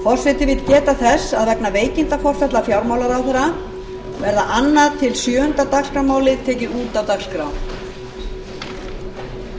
forseti vill geta þess að vegna veikinda hæstvirtur fjármálaráðherra verða annað til sjöunda dagskrármálið tekin út